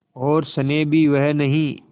और स्नेह भी वह नहीं